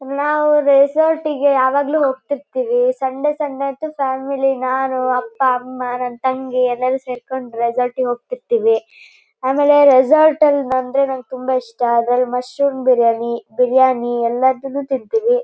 ನಾವು ರೆಸಾರ್ಟ್ಗಗೆ ಯಾವಗಲ್ಲು ಹೋಗ್ತಿರ್ತೀವಿ ಸಂಡೆ ಸಂಡೆ ಅಂತೂ ಫ್ಯಾಮಿಲಿ ನಾನು ಅಪ್ಪಾ ಅಮ್ಮ ನನ್ ತಂಗಿ ಎಲ್ಲಾರು ಸೆರಕೊಂಡು ರೆಸಾರ್ಟ್ಗ ಗೆ ಹೋಗ್ತಿರ್ತೀವಿ ಆಮೇಲೆ ರೆಸಾರ್ಟ್ ಅಲ್ಲಿ ಬಂದ್ರೆ ನನಗೆ ತುಂಬಾ ಇಷ್ಟಅದರಲ್ಲಿ ಮಶ್ರೂಮ್ ಬಿರಿಯಾನಿ ಬಿರಿಯಾನಿ ಎಲ್ಲಾದೂನು ತಿಂತೀನಿ.